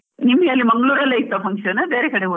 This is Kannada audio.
ನಿಮ್ಗೆ ಅಲ್ಲಿ ಮಂಗ್ಳುರ್ ಅಲ್ಲೇ ಇತ್ತ function , ಬೇರೆ ಕಡೆ ಹೋಗೋದ.